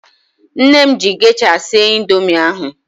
Nne m ji gesha sie indoomị ahu